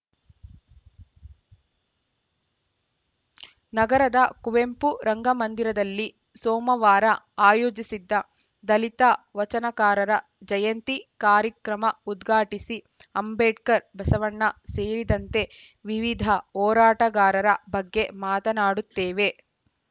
ನಗರದ ಕುವೆಂಪು ರಂಗಮಂದಿರದಲ್ಲಿ ಸೋಮವಾರ ಆಯೋಜಿಸಿದ್ದ ದಲಿತ ವಚನಕಾರರ ಜಯಂತಿ ಕಾರ್ಯಕ್ರಮ ಉದ್ಘಾಟಿಸಿ ಅಂಬೇಡ್ಕರ್‌ ಬಸವಣ್ಣ ಸೇರಿದಂತೆ ವಿವಿಧ ಹೋರಾಟಗಾರರ ಬಗ್ಗೆ ಮಾತನಾಡುತ್ತೇವೆ